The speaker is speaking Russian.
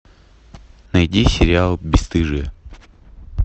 найди сериал бесстыжие